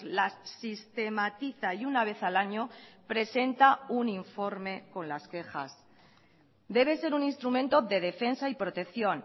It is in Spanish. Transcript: las sistematiza y una vez al año presenta un informe con las quejas debe ser un instrumento de defensa y protección